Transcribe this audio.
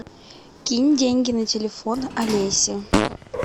кинь деньги на телефон олесе